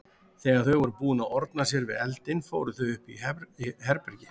Þegar þau voru búin að orna sér við eldinn fóru þau upp í herbergi.